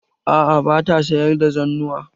A'a ba ta sayar da zannuwa.